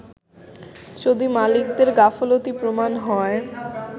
যদি মালিকদের গাফলতি প্রমান হয়